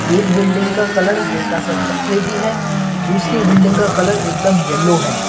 एक बिल्डिंग का कलर हल्का सा चॉकलेटी है तो दूसरी बिल्डिंग का कलर एकदम येलो है।